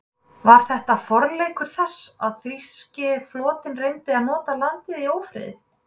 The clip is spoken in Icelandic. Var þetta forleikur þess, að þýski flotinn reyndi að nota landið í ófriði?